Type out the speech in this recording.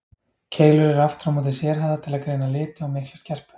Keilur eru aftur á móti sérhæfðar til að greina liti og mikla skerpu.